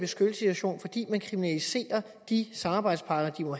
situation fordi man kriminaliserer de samarbejdspartnere